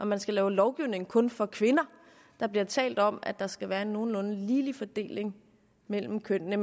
man skal lave lovgivning kun for kvinder der bliver talt om at der skal være en nogenlunde ligelig fordeling mellem kønnene